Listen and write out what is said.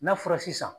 N'a fɔra sisan